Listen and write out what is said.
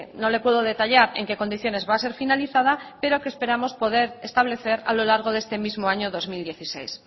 no le puedo detallar en qué condiciones va a ser finalizada pero que esperamos poder establecer a lo largo de este mismo año dos mil dieciséis